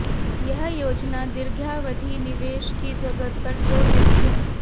यह योजना दीर्घावधि निवेश की जरूरत पर जोर देती है